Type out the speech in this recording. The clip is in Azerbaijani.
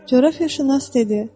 Coğrafiyaşünas dedi: